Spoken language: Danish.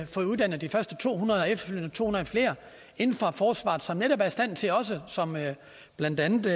fået uddannet de første to hundrede og efterfølgende to hundrede flere inden for forsvaret som netop er i stand til også som blandt andet